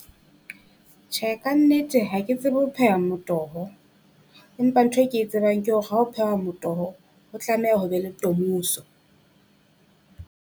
Tjhe, kannete ha ke tsebe ho pheha motoho, empa nthwe ke e tsebang ke hore ha ho phehwa motoho, ho tlameha ho be le tomoso.